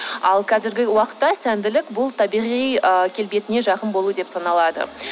ал қазіргі уақытта сәнділік бұл табиғи ы келбетіне жақын болу деп саналады